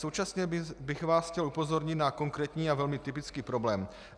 Současně bych vás chtěl upozornit na konkrétní a velmi typický problém.